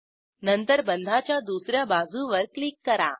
नंतर बंधाच्या दुस या बाजूवर क्लिक करा